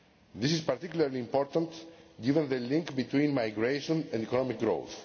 This is particularly important, given the link between migration and economic growth.